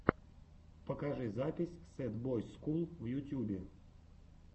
покажи запись сэд бойс скул в ютюбе